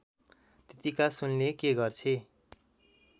त्यत्तिका सुनले के गर्छे